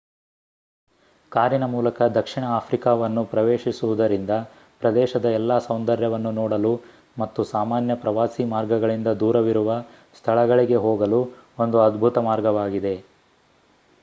ಕಾರಿನ ಮೂಲಕ ದಕ್ಷಿಣ ಆಫ್ರಿಕಾವನ್ನು ಪ್ರವೇಶಿಸುವುದರಿಂದ ಪ್ರದೇಶದ ಎಲ್ಲಾ ಸೌಂದರ್ಯವನ್ನು ನೋಡಲು ಮತ್ತು ಸಾಮಾನ್ಯ ಪ್ರವಾಸಿ ಮಾರ್ಗಗಳಿಂದ ದೂರವಿರುವ ಸ್ಥಳಗಳಿಗೆ ಹೋಗಲು ಒಂದು ಅದ್ಭುತ ಮಾರ್ಗವಾಗಿದೆ